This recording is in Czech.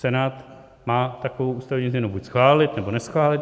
Senát má takovou ústavní změnu buď schválit, nebo neschválit.